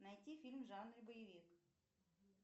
найти фильм в жанре боевик